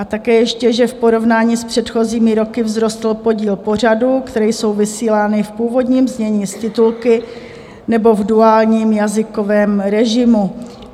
A také ještě, že v porovnání s předchozími roky vzrostl podíl pořadů, které jsou vysílány v původním znění s titulky nebo v duálním jazykovém režimu.